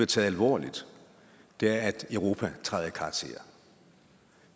taget alvorligt er at europa træder i karakter